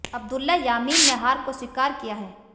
अब्दुल्ला यामीन ने हार को स्वीकार किया है